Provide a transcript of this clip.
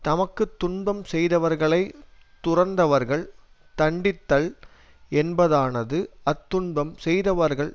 தமக்கு துன்பம் செய்தவர்களை துறந்தவர்கள் தண்டித்தல் என்பதானது அத்துன்பம் செய்தவர்கள்